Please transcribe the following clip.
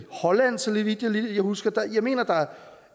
holland så vidt jeg husker jeg mener at der